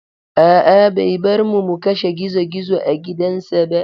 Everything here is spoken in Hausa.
A'a, bai bar mu mu kashe gizo-gizo a gidansa ba.